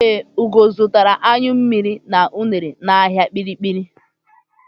Ee, Ugo zụtara anyụ mmiri na unere n'ahịa Kpiri-kpiri.